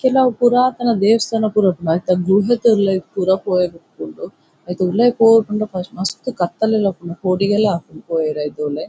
ಕೆಲವು ಪುರಾತನ ದೇವಸ್ಥಾನ ಪುರ ಉಪ್ಪುಂಡು ಐತ ಗುಹೆತ ಉಲಯಿ ಪುರ ಪೋಯೆರೆ ಉಪ್ಪುಂಡು ಐತ ಉಲಯಿ ಪೋಪುಂಡ ಮಸ್ತ್ ಕತ್ತಲೆಲ ಉಪ್ಪುಂಡು ಪೋಡಿಗೆಲ ಆಪುಂಡು ಪೋಯೆರೆ ಐತ ಉಲಯಿ.